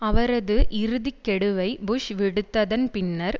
அவரது இறுதி கெடுவை புஷ் விடுத்ததன் பின்னர்